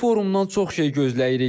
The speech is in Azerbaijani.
Bu forumdan çox şey gözləyirik.